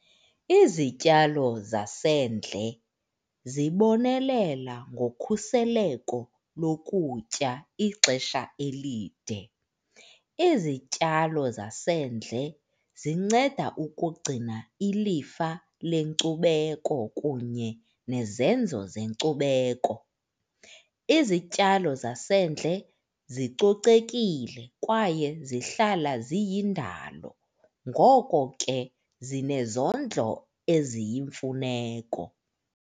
Izityalo zasendle zibonelela ngokhuseleko lokutya ixesha elide. Izityalo zasendle zinceda ukugcina ilifa lenkcubeko kunye nezenzo zenkcubeko. Izityalo zasendle zicocekile kwaye zihlala ziyindalo ngoko ke zinezondlo eziyimfuneko